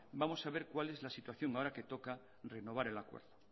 vamos a ver cuál es la situación ahora que toca renovar el acuerdo